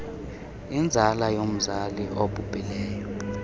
inzala yomzali obhubhileyo